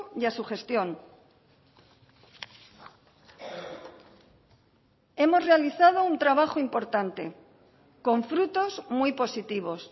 y a su gestión hemos realizado un trabajo importante con frutos muy positivos